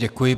Děkuji.